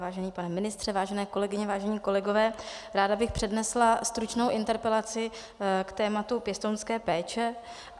Vážený pane ministře, vážené kolegyně, vážení kolegové, ráda bych přednesla stručnou interpelaci k tématu pěstounské péče.